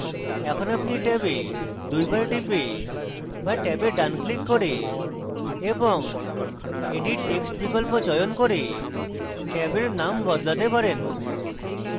এখন আপনি ট্যাবে দুইবার টিপে বা ট্যাবে ডান ক্লিক করে এবং edit text বিকল্প চয়ন করে ট্যাবের নাম বদলাতে পারেন